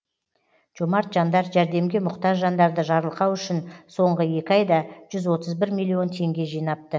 жомарт жандар жәрдемге мұқтаж жандарды жарылқау үшін соңғы екі айда жүз отыз бір миллион теңге жинапты